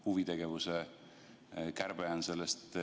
Huvitegevuse kärbe on üks näide selle kohta.